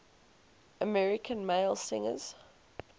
american male singers